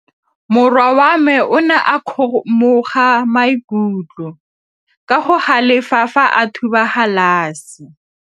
Morwa wa me o ne a kgomoga maikutlo ka go galefa fa a thuba galase.